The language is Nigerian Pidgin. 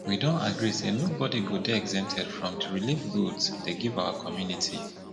we don agree say nobody go dey exempted from the relieve goods dey give our community